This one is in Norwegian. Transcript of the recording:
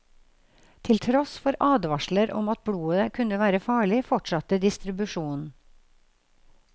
Til tross for advarsler om at blodet kunne være farlig, fortsatte distribusjonen.